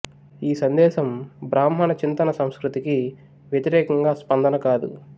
ఈ సందేశం బ్రాహ్మణ చింతన సంస్కృతికి వ్యతిరేకంగా స్పందన కాదు